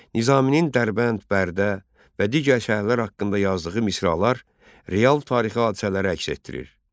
Nizaminin Dərbənd, Bərdə və digər şəhərlər haqqında yazdığı misralar real tarixi hadisələri əks etdirir.